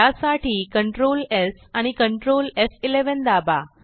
त्यासाठी Ctrl S आणि Ctrl एफ11 दाबा